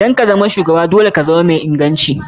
Don kazama shugaba dole ka zama mai ingancin haka.